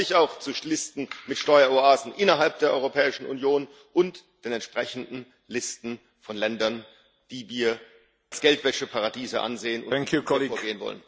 Hoffentlich auch zu Listen mit Steueroasen innerhalb der Europäischen Union und den entsprechenden Listen von Ländern, die wir als Geldwäscheparadiese ansehen und gegen die wir vorgehen wollen.